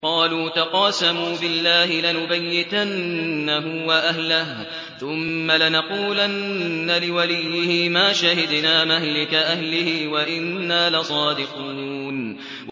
قَالُوا تَقَاسَمُوا بِاللَّهِ لَنُبَيِّتَنَّهُ وَأَهْلَهُ ثُمَّ لَنَقُولَنَّ لِوَلِيِّهِ مَا شَهِدْنَا مَهْلِكَ أَهْلِهِ وَإِنَّا لَصَادِقُونَ